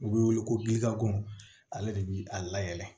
U bɛ wele ko gilako ale de bɛ a layɛlɛn